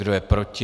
Kdo je proti?